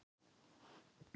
Heimildir og mynd Hekla.